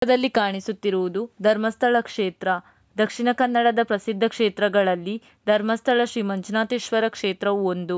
ಚಿತ್ರದಲ್ಲಿ ಕಾಣುತ್ತಿರುವುದು ಧರ್ಮಸ್ಥಳ ಕ್ಷೇತ್ರ ದಕ್ಷಿಣ ಕನ್ನಡ ಪ್ರಸಿದ್ಧ ಕ್ಷೇತ್ರಗಳಲ್ಲಿ ಧರ್ಮಸ್ಥಳ ಶ್ರೀ ಮಂಜುನಾಥೇಶ್ವರ ಕ್ಷೇತ್ರವು ಒಂದು--